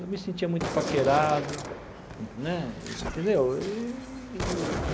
Eu me sentia muito paquerado né, entendeu? Eee.